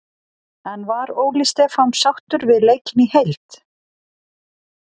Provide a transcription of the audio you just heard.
En var Óli Stefán sáttur við leikinn í heild?